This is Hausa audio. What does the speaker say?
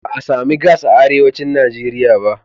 Ba a sami gas a arewacin Najeriya ba.